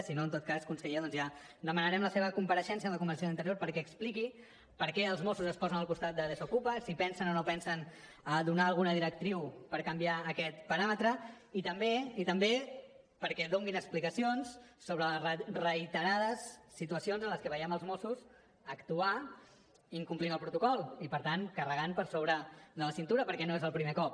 si no en tot cas conseller doncs ja demanarem la seva compareixença en la comissió d’interior perquè expliqui per què els mossos es posen al costat de desokupa si pensen o no pensen donar alguna directriu per canviar aquest paràmetre i també i també perquè donin explicacions sobre reiterades situacions en les que veiem els mossos actuar incomplint el protocol i per tant carregant per sobre de la cintura perquè no és el primer cop